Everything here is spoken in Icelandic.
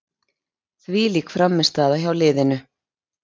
Þvílík frammistaða hjá liðinu.